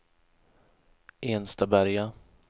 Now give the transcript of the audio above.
Enstaberga